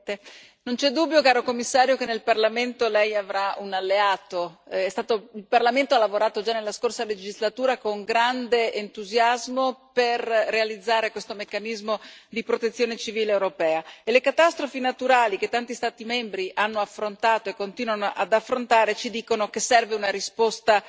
Signora Presidente, onorevoli colleghi, signor Commissario, non c'è dubbio che nel Parlamento Lei avrà un alleato. Il Parlamento ha lavorato già nella scorsa legislatura con grande entusiasmo per realizzare questo meccanismo di protezione civile europea e le catastrofi naturali che tanti Stati membri hanno affrontato, e continuano ad affrontare, ci dicono che serve una risposta